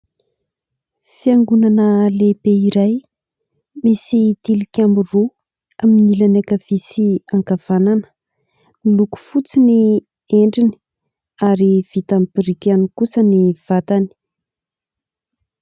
Fiangonana lehibe iray misy tilikambo roa amin'ny ilany ankavia sy ankavanana. Miloko fotsy ny endriny ary vita amin'ny biriky ihany kosa ny vatany.